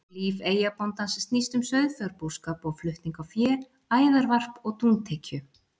Líf eyjabóndans snýst um sauðfjárbúskap og flutning á fé, æðarvarp og dúntekju.